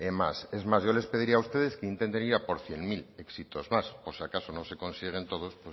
más es más yo les pediría a ustedes que intenten ir a por cien mil éxitos más por si acaso no se consiguieran todos